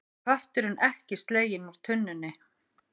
Kötturinn ekki sleginn úr tunnunni